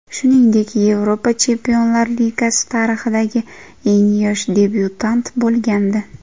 Shuningdek, Yevropa Chempionlar Ligasi tarixidagi eng yosh debyutant bo‘lgandi .